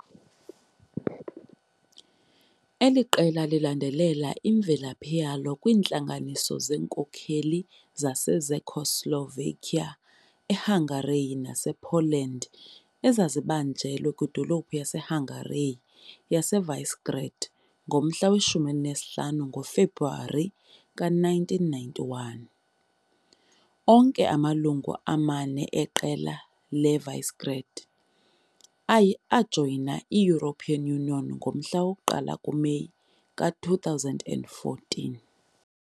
Eli qela lilandelela imvelaphi yalo kwiintlanganiso zeenkokeli zaseCzechoslovakia, eHungary nasePoland ezazibanjelwe kwidolophu yaseHungary yaseVisegrád ngomhla we-15 ngoFebruwari 1991. Onke amalungu amane eQela leVisegrád ajoyina i-European Union ngomhla woku-1 kuMeyi ka-2004.